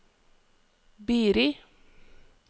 Biri